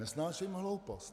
Nesnáším hloupost.